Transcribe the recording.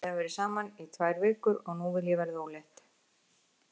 Við höfum verið saman í tvær vikur og nú vil ég verða ólétt.